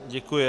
Děkuji.